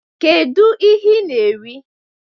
Kedu ihe ị na-eri?